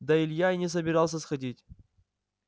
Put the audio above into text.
да илья и не собирался сходить